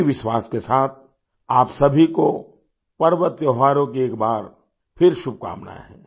इसी विश्वास के साथ आप सभी को पर्व त्योहारों की एक बार फिर शुभकामनाएँ